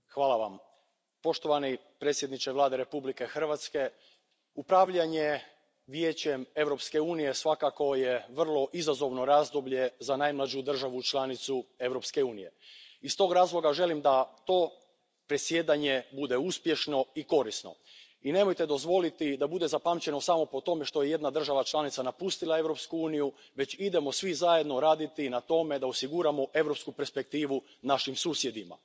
Poštovana predsjedavajuća, poštovani predsjedniče Vlade Republike Hrvatske, upravljanje Vijećem Europske unije svakako je vrlo izazovno razdoblje za najmlađu državu članicu Europske unije. Iz tog razloga želim da to predsjedanje bude uspješno i korisno i nemojte dozvoliti da bude zapamćeno samo po tome što je jedna država članica napustila Europsku uniju, već idemo svi zajedno raditi na tome da osiguramo europsku perspektivu našim susjedima.